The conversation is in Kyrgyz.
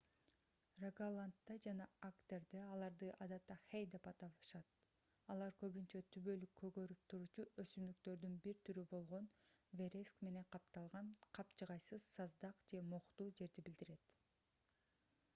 рогаландда жана агдерде аларды адатта хэй деп аташат алар көбүнчө түбөлүк көгөрүп туруучу өсүмдүктөрдүн бир түрү болгон вереск менен капталган капчыгайсыз саздак же мохтуу жерди билдирет